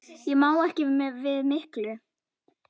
Ég má ekki við miklu.